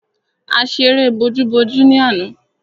A ṣeré bojú-bojú ni àná.